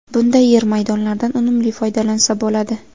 Bunday yer maydonlardan unumli foydalansa bo‘ladi.